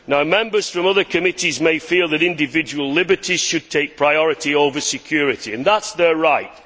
Members from other committees may feel that individual liberties should take priority over security and that is their right.